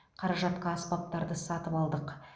қаражатқа аспаптарды сатып алдық